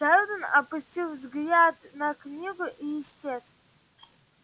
сэлдон опустил взгляд на книгу и исчез